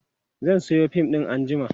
zan Sayo fim ɗin anjima